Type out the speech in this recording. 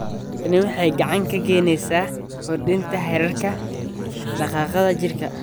Tani waxay gacan ka geysaneysaa kordhinta heerarka dhaqdhaqaaqa jirka.